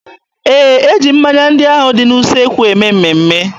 Ee, e ji mmanya ndị ahụ dị n'usekwu eme mmemme.